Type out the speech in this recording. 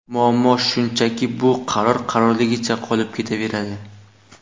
Muammo shundaki, bu qaror qarorligicha qolib ketaveradi.